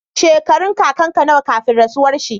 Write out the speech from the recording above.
Shekarun kakan ka nawa kafin rasuwar shi?